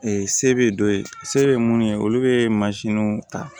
se bɛ dɔ ye se bɛ mun ye olu bɛ ta